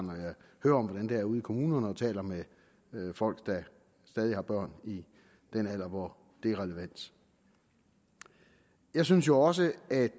når om hvordan der er ude i kommunerne og taler med folk der stadig har børn i den alder hvor det er relevant jeg synes jo også at